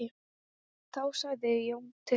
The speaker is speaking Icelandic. Þá sagði Jón til sín.